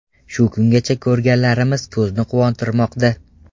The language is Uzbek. Shu kungacha ko‘rganlarimiz ko‘zni quvontirmoqda.